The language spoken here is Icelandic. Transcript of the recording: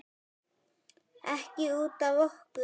Ekki út af okkur.